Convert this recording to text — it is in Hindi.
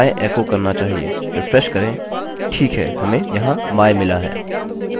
रिफ्रेश करें ठीक है हमें यहाँ my मिला है